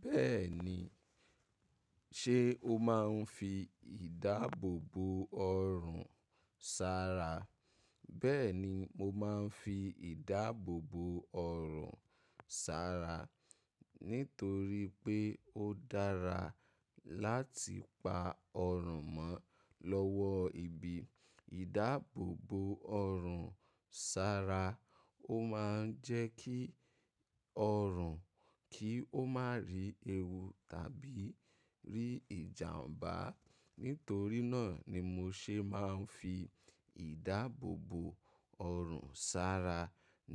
Bẹ́ẹ̀ni. Ṣé o máa ń fi ìdáàbòbò ọrùn sara? Bẹ́ẹ̀ni, mo máa ń fi ìdáàbòbò ọrùn sara nítorí pé ó dára láti pa ọrùn mọ́ lọ́wọ́ ibi. Ìdáàbòbò ọrùn sara o máa ń jẹ́ kí ọrùn kí ó má rí ewu tàbí rí ìjàmbá. Nítorí náà ni mo ṣe máa ń fi ìdáàbòbò ọrùn sara